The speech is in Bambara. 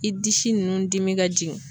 I disi nunnu dimi ka jigin